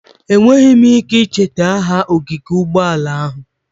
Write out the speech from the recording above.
Enweghị m ike icheta aha ogige ụgbọala ahụ.